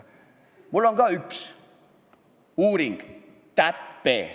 Mul on ka üks uuring: TÄPE.